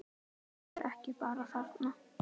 Hann var ekki bara þarna.